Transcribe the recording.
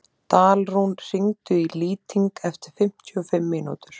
Dalrún, hringdu í Lýting eftir fimmtíu og fimm mínútur.